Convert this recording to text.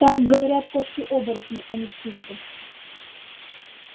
так говорят кошки-оборотни а не птицы